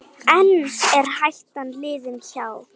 En er hættan liðin hjá?